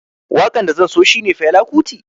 Wakan da zan so shine na Fela Kuti